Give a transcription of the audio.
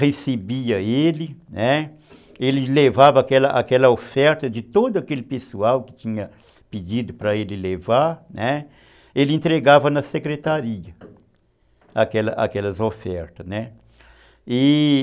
recebia ele, né, ele levava aquela oferta de todo aquele pessoal que tinha pedido para ele levar, ele entregava na secretaria aquelas aquelas ofertas, né, e